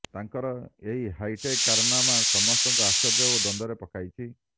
ତାଙ୍କର ଏହି ହାଇାଟେକ କାରନାମା ସମସ୍ତଙ୍କୁ ଆଶ୍ଚର୍ଯ୍ୟ ଓ ଦ୍ବନ୍ଦ୍ବରେ ପକାଇଛି